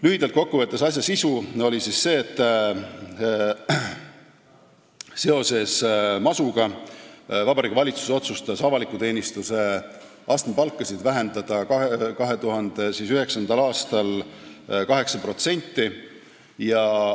Lühidalt kokku võttes oli asja sisu see, et masu tõttu otsustas Vabariigi Valitsus 2009. aastal avaliku teenistuse astmepalkasid 8% vähendada.